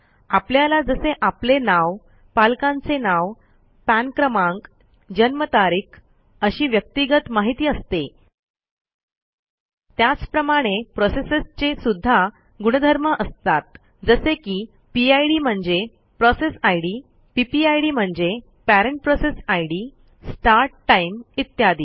आपल्याला जसे आपले नाव पालकांचे नाव पान क्रमांक जन्मतारीख अशी व्यक्तिगत माहिती असते त्याचप्रमाणे प्रोसेसेसचे सुध्दा गुणधर्म असतात जसे की पिड म्हणजे पीपीआयडी म्हणजे स्टार्ट टाइम इत्यादी